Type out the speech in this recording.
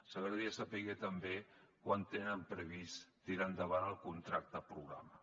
ens agradaria saber també quan tenen previst tirar endavant el contracte programa